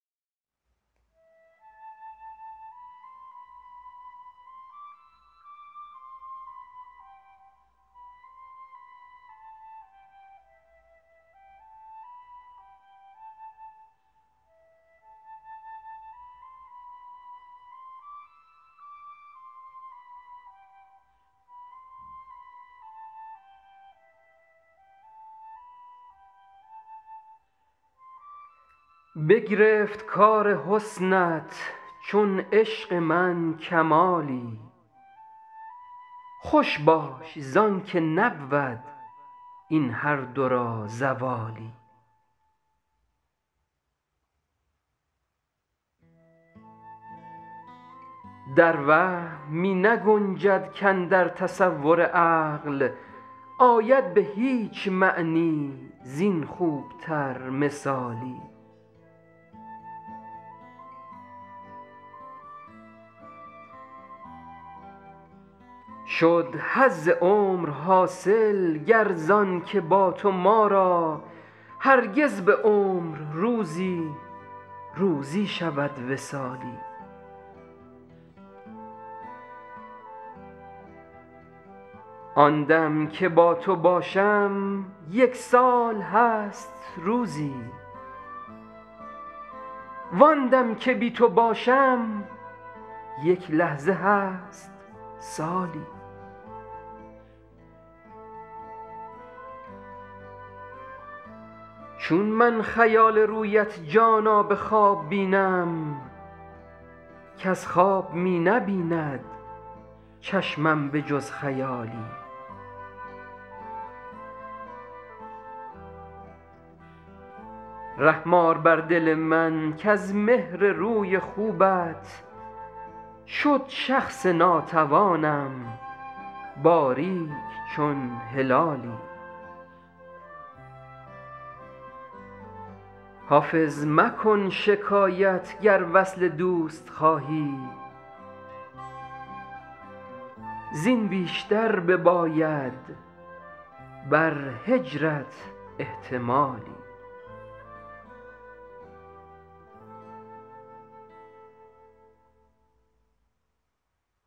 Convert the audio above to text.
بگرفت کار حسنت چون عشق من کمالی خوش باش زان که نبود این هر دو را زوالی در وهم می نگنجد کاندر تصور عقل آید به هیچ معنی زین خوب تر مثالی شد حظ عمر حاصل گر زان که با تو ما را هرگز به عمر روزی روزی شود وصالی آن دم که با تو باشم یک سال هست روزی وان دم که بی تو باشم یک لحظه هست سالی چون من خیال رویت جانا به خواب بینم کز خواب می نبیند چشمم به جز خیالی رحم آر بر دل من کز مهر روی خوبت شد شخص ناتوانم باریک چون هلالی حافظ مکن شکایت گر وصل دوست خواهی زین بیشتر بباید بر هجرت احتمالی